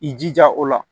I jija o la